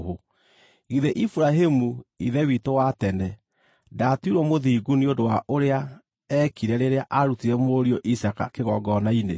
Githĩ Iburahĩmu, ithe witũ wa tene, ndaatuirwo mũthingu nĩ ũndũ wa ũrĩa eekire rĩrĩa aarutire mũriũ Isaaka kĩgongona-inĩ?